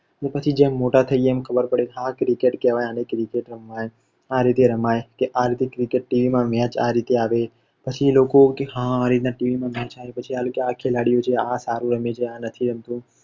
પછી મોટા થઈએ પછી ખબર પડે કે હા આને cricket કેવાય આને આ રીતે રમાય કે આ રીતે cricket team હોય અને match આ રીતે આવે પછી એ લોકો હા આ રીતના matchtv માં આવે પછી આ ખબર પડે કે આ ખેલાડી સારું રમે છે આ નથી રમતો